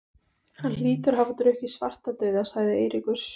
Hann hlýtur að hafa drukkið Svartadauða, sagði Eiríkur.